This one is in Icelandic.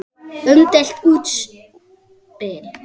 Umdeilt útspil.